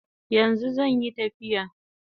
Yanzu zanyi tafiya